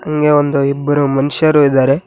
ಹಂಗೇ ಒಂದು ಇಬ್ಬರು ಮನುಷ್ಯರು ಇದ್ದಾರೆ.